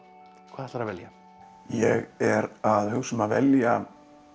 ætlarðu að velja ég er að hugsa um að velja